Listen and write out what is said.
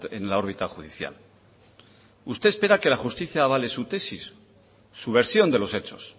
en la órbita judicial usted espera que la justicia avale su tesis su versión de los hechos